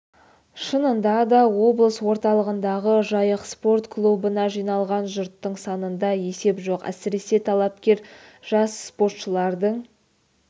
шынында да облыс орталығындағы жайық спорт клубына жиылған жұрттың санында есеп жоқ әсіресе талапкер жас спортшылардың